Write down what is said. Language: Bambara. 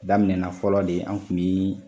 Daminɛna fɔlɔ de an kun bi